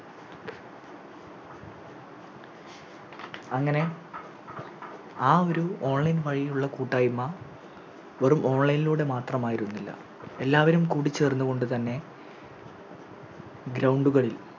അങ്ങനെ ആ ഒരു Online വഴിയുള്ള കൂട്ടായ്മ വെറും Online ലൂടെ മാത്രമായിരുന്നില്ല എല്ലാവരും കൂടിചേർന്നുകൊണ്ട് തന്നെ Ground കളിൽ